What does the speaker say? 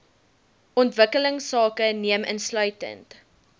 ontwikkelingsake neem insluitend